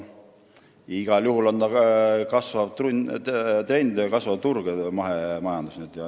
Igal juhul on mahemajandus kasvav trend ja kasvav turg.